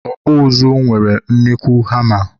ọkpụ ụzụ nwere nnukwu hama.